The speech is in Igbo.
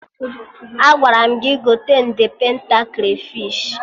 Agwara m gị gote nde penta krafish!